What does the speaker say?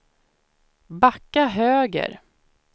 backa höger